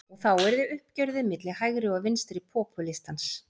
Og þá yrði uppgjörið milli hægri og vinstri popúlistans.